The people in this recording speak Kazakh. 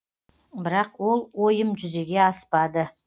бірақ ол ойым жүзеге аспады